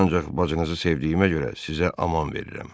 Ancaq bacınızı sevdiyimə görə sizə aman verəm.